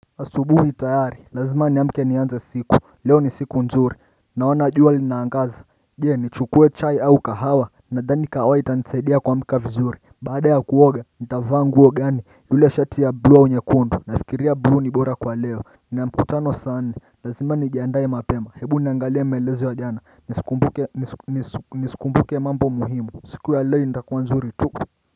Asubuhi tayari lazima ni amke ni anze siku leo ni siku nzuri naona juwa li naangaza jee ni chukue chai au kahawa na dhani kahawa ita nisaidia kuamka vizuri baada ya kuoga nitavanguo gani yule shati ya blu au nyekundu nafikiria bluu ni bora kwa leo na mkutano saa nne lazima ni jiandae mapema hebu niangalia maelezo ya jana nisikumbuke mambo muhimu siku ya leo nitakuwa nzuri tu.